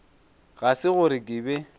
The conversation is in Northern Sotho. ga se gore ke be